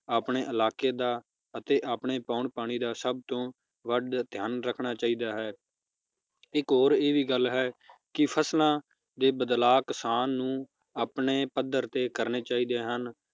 ਆਪਣੇ ਇਲਾਕੇ ਦਾ ਅਤੇ ਆਪਣੇ ਪਾਉਣ ਪਾਣੀ ਦਾ ਸਬ ਤੋਂ ਵੱਧ ਧਿਆਨ ਰੱਖਣਾ ਚਾਹੀਦਾ ਹੈ ਇਕ ਹੋਰ ਇਹ ਵੀ ਗੱਲ ਹੈ ਕਿ ਫਸਲਾਂ ਦੇ ਬਦਲਾਵ ਕਿਸਾਨ ਨੂੰ ਆਪਣੇ ਪੱਧਰ ਤੇ ਕਰਨੇ ਚਾਹੀਦੇ ਹਨ